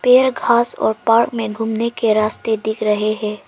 पेड़ घास और पार्क में घूमने के रास्ते दिख रहे है।